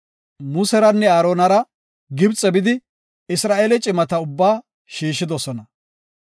Museranne Aaronara Gibxe bidi, Isra7eele cimata ubbaa shiishidosona.